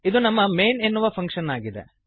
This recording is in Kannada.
ಇದು ನಮ್ಮ ಮೈನ್ ಎನ್ನುವ ಫಂಕ್ಶನ್ ಆಗಿದೆ